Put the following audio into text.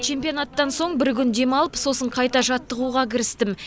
чемпионаттан соң бір күн демалып сосын қайта жаттығуға кірістім